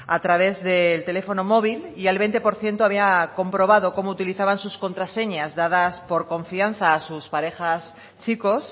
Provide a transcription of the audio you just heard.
a través del teléfono móvil y el veinte por ciento había comprobado como utilizaban sus contraseñas dadas por confianza a sus parejas chicos